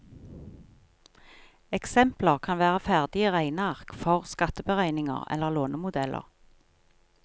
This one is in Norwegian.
Eksempler kan være ferdige regneark for skatteberegninger eller lånemodeller.